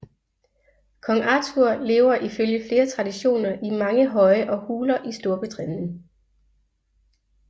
Kong Arthur lever ifølge flere traditioner i mange høje og huler i Storbritannien